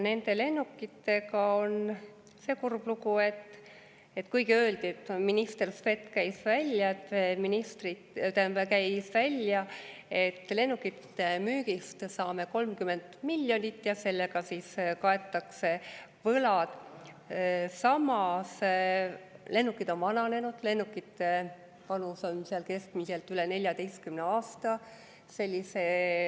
Nende lennukitega on see kurb lugu, et minister Svet käis küll välja, et lennukite müügist saame 30 miljonit eurot ja sellega kaetakse siis võlad, aga samas, lennukid on vananenud, lennukite vanus on seal keskmiselt üle 14 aasta.